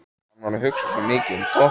Hann var að hugsa svo mikið um Doppu.